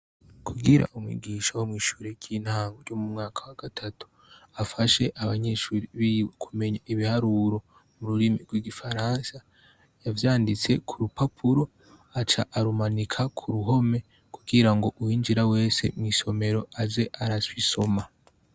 Kugira umwigisha womwishure ryintango ryo mumwaka wagatatu afashe abanyeshuri biwe kumenya ibiharuro mururimi rw' igifaransa yavyanditse kurupapura aca arumanika kuruhome kugirango uwinjira wese mwisomero aze arabisoma.